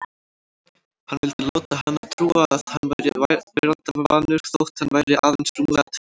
Hann vildi láta hana trúa að hann væri veraldarvanur þótt hann væri aðeins rúmlega tvítugur.